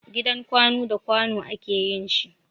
Gidan Kwanu da kwanu a ke yin shi.